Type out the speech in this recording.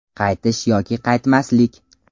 Qaytish yoki qaytmaslik?